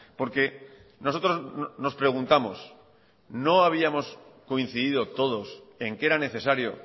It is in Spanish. porque nosotros nos preguntamos no habíamos coincidido todos en que era necesario